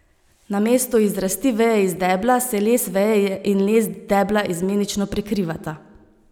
Na mestu izrasti veje iz debla se les veje in les debla izmenično prekrivata.